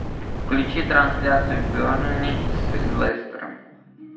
включи трансляцию бернли с лестером